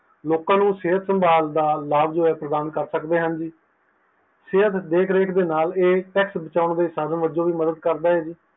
ਲੋਕਾਂ ਨੂੰ ਸਿਹਤ ਸੰਭਾਲ ਦਾ ਜੋ ਲਾਭ ਪ੍ਰਦਾਨ ਕਰ ਸਕਦੇ ਹਨ ਜੀ ਸਿਹਤ ਦੇਖ ਰੇਖ ਦੇ ਨਾਲ ਇਹ tax ਬਚਾਉਣ ਦੇ ਸਾਧਨ ਵਜੋਂ ਵੀ ਮੱਦਦ ਕਰਦਾ ਹੈ ਜੀ